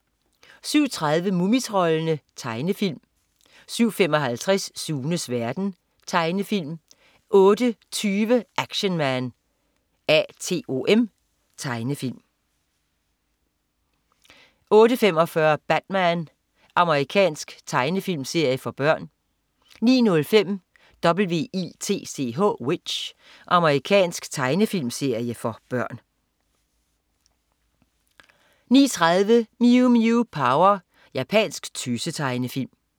07.30 Mumitroldene. Tegnefilm 07.55 Sunes verden. Tegnefilm 08.20 Action Man A.T.O.M. Tegnefilm 08.45 Batman. Amerikansk tegnefilmserie for børn 09.05 W.i.t.c.h. Amerikansk tegnefilmserie for børn 09.30 Mew Mew Power. Japansk tøse-tegnefilm